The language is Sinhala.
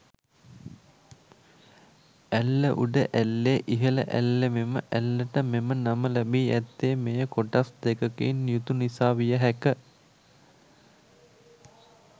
ඇල්ල උඩ ඇල්ලේ ඉහළ ඇල්ලමෙම ඇල්ලට මෙම නම ලැබී ඇත්තේ මෙය කොටස් දෙකකින් යුතු නිසා විය හැක